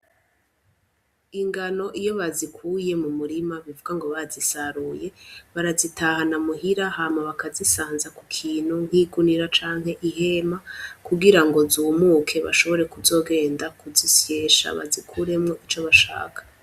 Ingano iyo bazikuye mu mirima, uvugango bazisaruye, barazitahana muhira hama bakazisanza ku kintu nk'igunira canke ihema kugira ngo zumuke, bashobore kuzogenda kuzisyesha bazikuremwo ico bashaka.